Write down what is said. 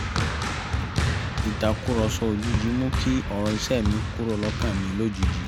ìtàkùrọ̀sọ òjijì mú kí ọ̀rọ̀ iṣẹ́ mi kúrò lọ́kàn mi lójijì